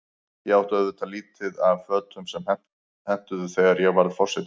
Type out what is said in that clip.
Ég átti auðvitað lítið af fötum sem hentuðu, þegar ég varð forseti.